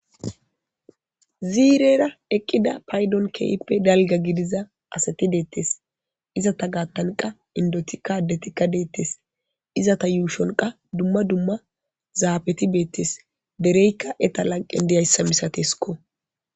Zirera eqqida payiddon kehippe dalgga gidizza asati detees.izzeta gattanni qasi indottikka adettikka detees.izzata ushshonni qasi dumma dumma zafetti betees.dereyikka eta laniqqenni dizayissa masatessikko.